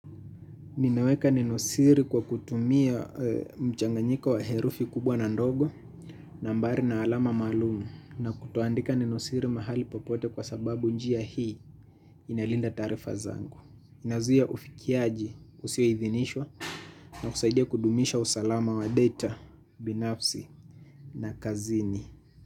Ninaweka neno siri kwa kutumia mchanganyiko wa herufi kubwa na ndogo, nambari na alama maalum, na kutoandika nenosiri mahali popote kwa sababu njia hii inalinda taarifa zangu. Inazuia ufikiaji usioidhinishwa na kusaidia kudumisha usalama wa data, binafsi na kazini.